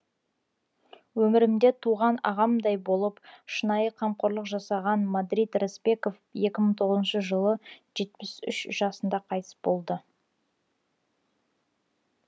өмірімде туған ағамдай болып шынайы қамқорлық жасаған мадрид рысбеков екі мың тоғызыншы жылыжетпіс үш жасында қайтыс болды